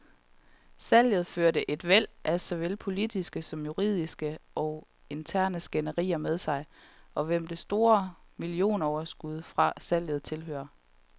Salget førte et væld af såvel politiske som juridiske og interne skænderier med sig, om hvem det store millionoverskud fra salget tilhører.